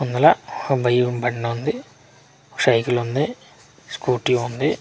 ఇందులో బయ్యిం బండుంది సైకిలుంది స్కూటీ ఉంది.